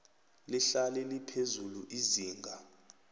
lihlale liphezulu izinga